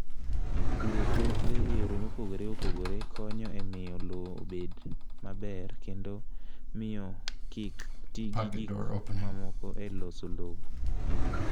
Puro puothe e yore mopogore opogore konyo e miyo lowo obed maber kendo miyo kik ti gi gik mamoko e loso lowo.